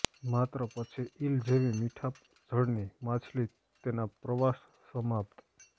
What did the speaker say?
માત્ર પછી ઈલ જેવી મીઠા જળની માછલી તેના પ્રવાસ સમાપ્ત